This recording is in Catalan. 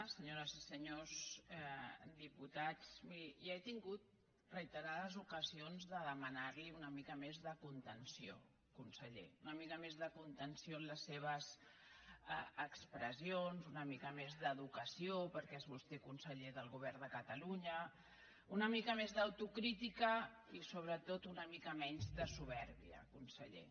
senyores i senyors diputats mi·ri ja he tingut reiterades ocasions de demanar·li una mica més de contenció conseller una mica més de contenció en les seves expressions una mica més d’educació perquè és vostè conseller del govern de catalunya una mica més d’autocrítica i sobretot una mica menys de supèrbia conseller